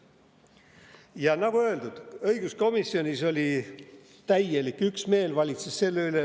Ja nagu öeldud, õiguskomisjonis valitses täielik üksmeel.